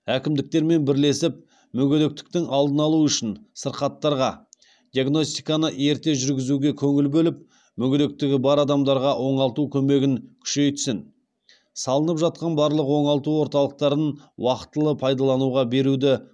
әкімдіктермен бірлесіп мүгедектіктің алдын алу үшін сырқаттарға диагностиканы ерте жүргізуге көңіл бөліп мүгедектігі бар адамдарға оңалту көмегін күшейтсін салынып жатқан барлық оңалту орталықтарын уақытылы пайдалануға беруді